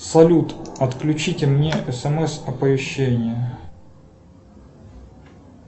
салют отключите мне смс оповещения